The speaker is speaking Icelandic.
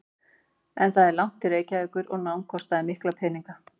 En það var langt til Reykjavíkur og nám kostaði mikla peninga.